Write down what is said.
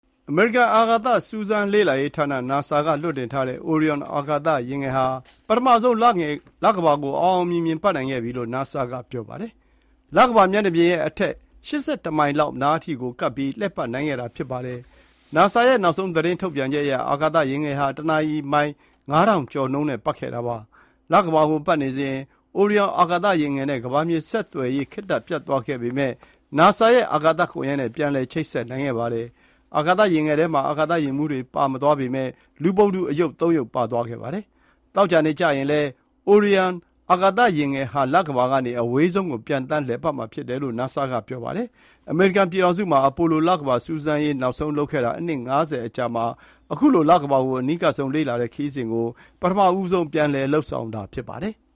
အမေရိကန်အာကာသ စူးစမ်းလေ့လာရေး NASA လွှတ်တင်ထားတဲ့ Orion အာကာသယာဉ်ငယ်ဟာ လကမ္ဘာကို ပထမဆုံး အောင်အောင်မြင်မြင်ပတ်နိုင်ခဲ့ပြီလို့ NASA က ပြောပါတယ်။ လကမ္ဘာမျက်နှာပြင်ရဲ့အထက် ၈၁ မိုင်လောက်နားအထိကပ်ပြီး လှည့်ပတ်နိုင်ခဲ့တာဖြစ်ပါတယ်။ NASA ရဲ့ နောက်ဆုံးထုတ်ပြန်ချက်အရ အာကာသယာဉ်ငယ်ဟာ တနာရီမိုင် ၅ ထောင်ကျော်နှုန်းနဲ့ ပတ်ခဲ့တာဖြစ်ပါတယ်။ လကမ္ဘာကို ပတ်နေစဉ် Orion အာကာသယာဉ်ငယ်နဲ့ ကမ္ဘာမြေဆက်သွယ်ရေး ခေတ္တပြတ်သွားခဲ့ပေမဲ့ NASA ရဲ့ အာကာသကွန်ရက်နဲ့ ပြန်လည်ချိန်ဆက်နိုင်ခဲ့ပါတယ်။ အာကာသယာဉ်ငယ်ထဲမှာ အာကာသယာဉ်မှူးတွေ ပါမသွားပေမဲ့ လူပုံတူအရုပ် ၃ ရုပ် ပါသွားပါတယ်။ သောကြာနေ့ကျရင်လည်း Orion အာကာသယာဉ်ငယ်ဟာ လကမ္ဘာကနေ အဝေးဆုံးကို ပျံသန်းလည်ပတ်မှုကို လုပ်မှာဖြစ်တယ်လို့ NASA ကပြောပါတယ်။ အမေရိကန်ပြည်ထောင်စုမှာ Apollo လကမ္ဘာစူးစမ်းရေး နောက်ဆုံးလုပ်ခဲ့ပြီး နှစ် ၅၀ အကြာမှာ အခုလို လကမ္ဘာကို အနီးကပ်ဆုံးလေ့လာတဲ့ ခရီးစဉ်ကို ပထမဆုံး ပြန်လုပ်နေတာဖြစ်ပါတယ်။